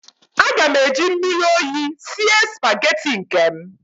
Aga m eji mmiri oyi sie spaghetti nke m